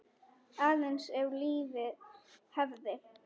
Aðeins ef lífið hefði.?